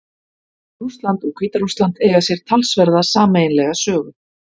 Rússland og Hvíta-Rússland eiga sér talsverða sameiginlega sögu.